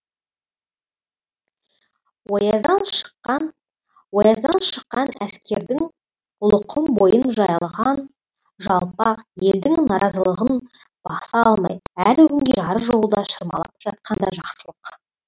ояздан шыққан ояздан шыққан әскердің ұлықұм бойын жайлаған жалпақ елдің наразылығын баса алмай әлі күнге жары жолда шырмалып жатқаны да жақсылық